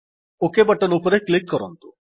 okay button ଉପରେ click କରନ୍ତୁ